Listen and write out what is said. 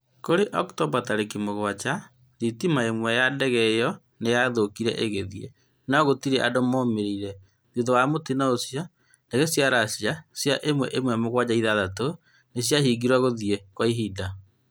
Kũrĩ Oktomba tarĩki mũgwanja, thitima ĩmwe ya ndege ĩyo nĩ yathũkire ĩgĩthiĩ, no gũtiarĩ andũ momĩrire. Thutha wa mũtino ũcio, ndege cia Russia cia Il-76 nĩ ciahingĩirwo gũthiĩ kwa ihinda.